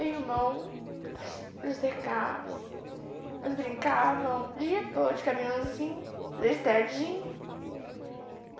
irmão, Zé Carlos, nós brincavam, de dia todo, de caminhãozim , na estradinha.